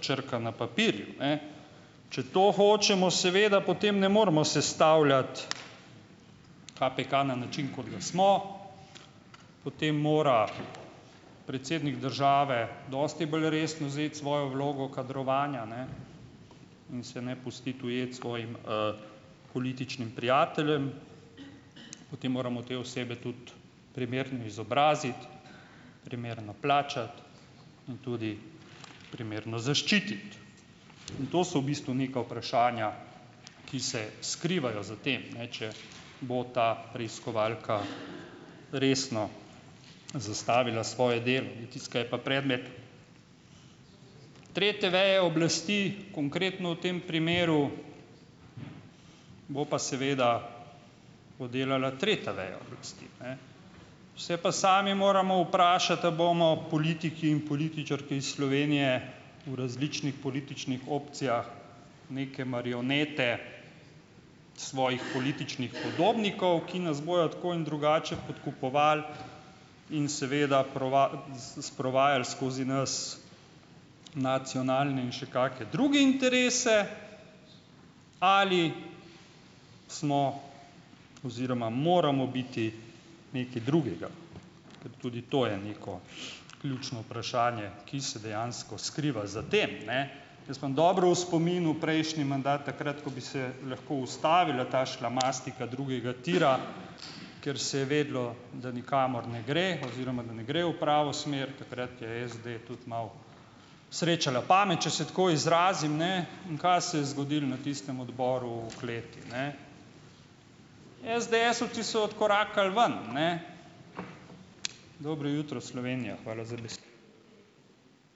črka na papirju, ne. Če to hočemo, seveda potem ne moremo sestavljati KPK na način, kot ga smo, potem mora predsednik države dosti bolj resno vzeti svojo vlogo kadrovanja, ne, in se ne pustiti ujeti svojim političnim prijateljem, potem moramo te osebe tudi primerno izobraziti, primerno plačati in tudi primerno zaščititi. In to so v bistvu neka vprašanja, ki se skrivajo za tem, ne, če bo ta preiskovalka resno zastavila svoje delo, ne. In tisto, kar je pa predmet tretje veje oblasti konkretno v tem primeru, bo pa seveda oddelala tretja veja oblasti, ne. Se pa sami moramo vprašati, a bomo politiki in političarke iz Slovenije v različnih političnih opcijah neke marionete svojih političnih podobnikov, ki nas bojo tako in drugače podkupovali in seveda sprovajali skozi nas nacionalne in še kakšne druge interese, ali smo oziroma moramo biti nekaj drugega, ker tudi to je neko ključno vprašanje, ki se dejansko skriva za tem, ne. Jaz imam dobro v spominu prejšnji mandat, takrat ko bi se lahko ustavila ta šlamastika drugega tira, ker se je vedelo, da nikamor ne gre oziroma da ne gre v pravo smer, takrat je SD tudi malo srečala pamet, če se tako izrazim, ne. In kaj se je zgodilo na tistem odboru v kleti, ne. Esdeesovci so odkorakali ven, ne. Dobro jutro Slovenija! Hvala za besedo.